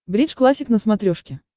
бридж классик на смотрешке